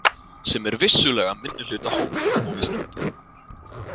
Sem er vissulega minnihlutahópur á Íslandi.